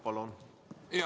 Palun!